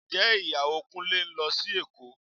Ǹjẹ́ Ìyàwó Kúnlé ń lọ sí Èkó